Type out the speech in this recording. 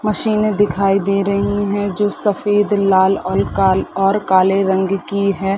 मशीने दिखाई दे रही है जो सफ़ेद लाल ऑल और काले रंग की हैं ।